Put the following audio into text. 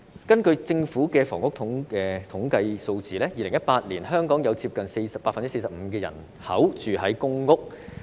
根據政府的房屋統計數字 ，2018 年香港接近 45% 人口居於公共屋邨。